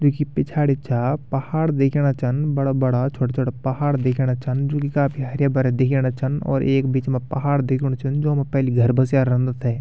तैकि पिछाड़ी छा पहाड दिखेंणा छन बड़ा बड़ा छुटा छुटा पहाड दिखेंणा छन जु कि काफी हरा भरा दिखेंणा छन और ऐक बीच मा पहाड दिखेणु छन जो मा पेली घर बस्या रंदा थेय ।